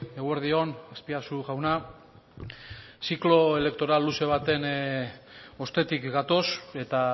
eguerdi on aspiazu jauna ziklo elektoral luze baten ostetik gatoz eta